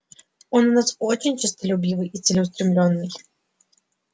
он у нас очень честолюбивый и целеустремлённый